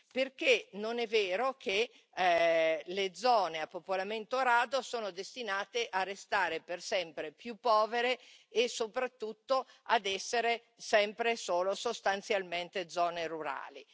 Perché non è vero che le zone a popolamento rado sono destinate a restare per sempre più povere e soprattutto ad essere sempre e solo sostanzialmente zone rurali.